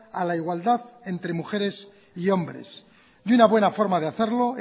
a la igualdad entre mujeres y hombres y una buena forma de hacerlo